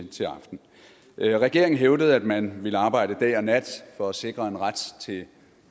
til aften regeringen hævdede at den ville arbejde dag og nat for at sikre en ret til